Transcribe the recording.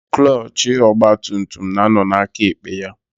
Klọchị ọgbatumtum na-ánọ̀ n'akaekpe ya.